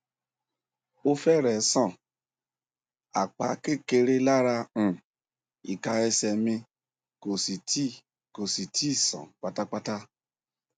o fẹrẹẹ sàn apá kékeré lára um ika ese mi kò sì tíì kò sì tíì sàn pátápátá